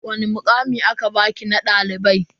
Wani mukami aka baki na dalibai?